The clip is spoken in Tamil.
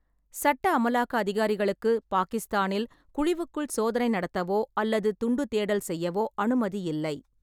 சட்ட அமலாக்க அதிகாரிகளுக்கு பாக்கிஸ்தானில் குழிவுக்குள் சோதனை நடத்தவோ அல்லது துண்டு தேடல் செய்யவோ அனுமதி இல்லை.